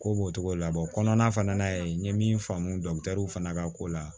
Ko b'o cogo la kɔnɔna fana na ye n ye min faamu fana ka ko la